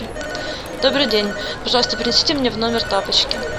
добрый день пожалуйста принесите мне в номер тапочки